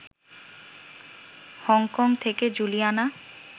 Hong Kong থেকে Juliana